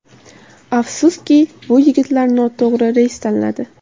Afsuski, bu yigitlar noto‘g‘ri reys tanladi.